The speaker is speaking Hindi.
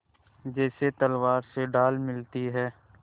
जैसे तलवार से ढाल मिलती है